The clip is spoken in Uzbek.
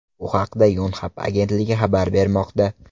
Bu haqda Yonhap agentligi xabar bermoqda.